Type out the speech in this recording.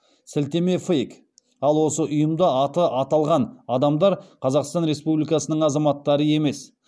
сілтеме фейк ал осы ұйымда аты аталған адамдар қазақстан республикасының азаматтары емес